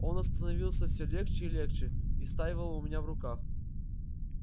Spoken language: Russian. он остановился все легче и легче истаивал у меня в руках